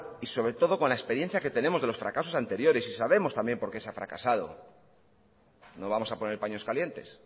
y sobre todo con la experiencia que tenemos de los fracasos anteriores y sabemos también por qué se ha fracasado no vamos a poner paños calientes